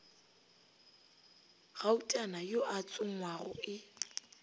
gautana yo a tsongwago e